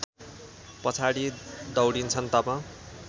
पछाडि दौडिन्छन् तब